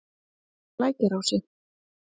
Lækjarási